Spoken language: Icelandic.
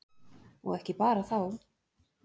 Og ekki bara þá.